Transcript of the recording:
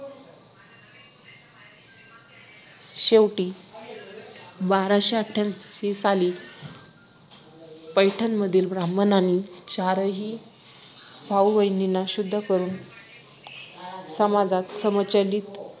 शेवटी बाराशे आठ्यांऐशी साली पैठण मधील ब्राम्हणांनी चारही भाऊ बहिणींना शुद्ध करून समाजात सम्मिलीत